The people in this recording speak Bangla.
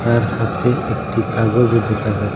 তার হাতে একটি কাগজও দেখা যায়।